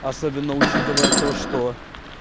особенно учитывая то что